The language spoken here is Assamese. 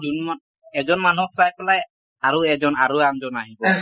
যোন মা এজন মানুহক চাই পেলাই আৰু এজন আৰু আনজন আহি যায় ।